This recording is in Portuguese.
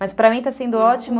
Mas para mim está sendo ótimo.